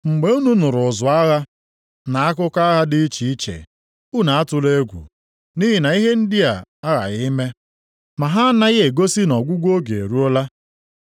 Mgbe unu nụrụ ụzụ agha, na akụkọ agha dị iche iche, unu atụla egwu, nʼihi na ihe ndị a aghaghị ime. Ma ha anaghị egosi na ọgwụgwụ oge eruola.